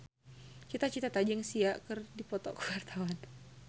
Cita Citata jeung Sia keur dipoto ku wartawan